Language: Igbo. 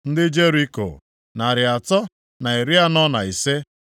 ndị Jeriko, narị atọ na iri anọ na ise (345),